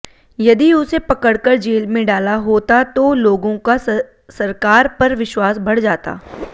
यदि उसे पकड़कर जेल में डाला होता तो लोगों का सरकार पर विश्वास बढ़ जाता